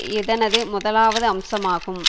இதனது முதலாவது அம்சமாகும்